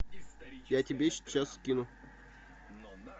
я тебе сейчас скину